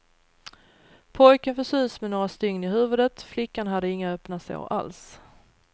Pojken fick sys med några stygn i huvudet, flickan hade inga öppna sår alls.